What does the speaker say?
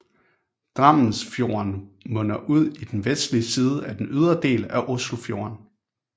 Drammensfjorden munder ud i den vestlige side af den ydre del af Oslofjorden